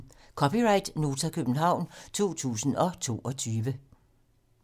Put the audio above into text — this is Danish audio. (c) Nota, København 2022